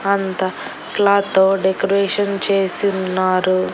అంతా క్లాత్తో డెకరేషన్ చేసి ఉన్నారు.